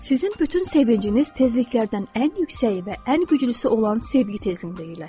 Sizin bütün sevinciniz tezliklərdən ən yüksəyi və ən güclüsü olan sevgi tezliyində yerləşir.